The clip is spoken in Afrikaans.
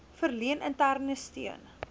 verleen interne steun